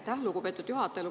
Aitäh, lugupeetud juhataja!